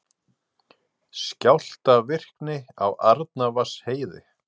Skjálftavirkni á Arnarvatnsheiði